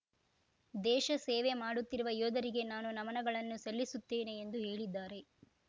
ದೇಶ ಸೇವೆ ಮಾಡುತ್ತಿರುವ ಯೋಧರಿಗೆ ನಾನು ನಮನಗಳನ್ನು ಸಲ್ಲಿಸುತ್ತೇನೆ ಎಂದು ಹೇಳಿದ್ದಾರೆ